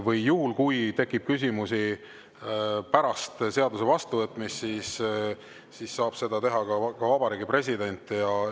Või juhul, kui tekib küsimusi pärast seaduse vastuvõtmist, saab Vabariigi President.